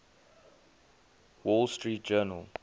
wall street journal